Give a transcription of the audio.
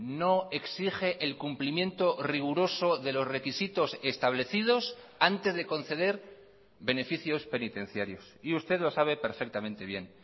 no exige el cumplimiento riguroso de los requisitos establecidos antes de conceder beneficios penitenciarios y usted lo sabe perfectamente bien